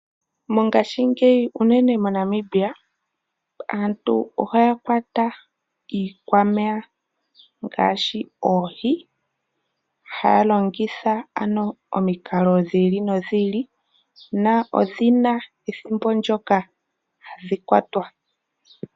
Mongashingeyi unene moNamibia aantu ohaya kwata iikwameya ngaashi oohi haya longitha omikalo dhi ili nodhi ili. Odhi na ethimbo ndyono hadhi kwatwa.